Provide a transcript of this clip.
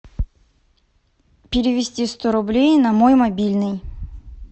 перевести сто рублей на мой мобильный